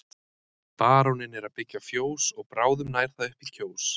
Baróninn er að byggja fjós og bráðum nær það upp í Kjós.